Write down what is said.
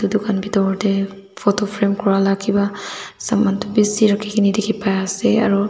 itu khan bitor tey photo frame kura la ki ba saman toh bisi rakhikene dikhi pai ase aro.